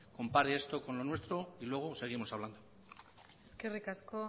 compare esto con lo nuestro y luego seguimos hablando eskerrik asko